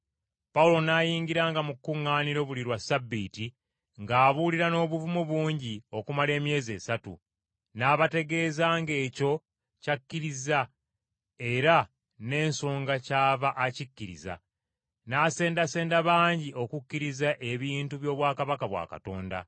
Pawulo n’ayingiranga mu kkuŋŋaaniro buli lwa Ssabbiiti ng’abuulira n’obuvumu bungi okumala emyezi esatu, n’abategeezanga ekyo ky’akkiriza era n’ensonga kyava akkiriza, n’asendasenda bangi okukkiriza ebintu by’obwakabaka bwa Katonda.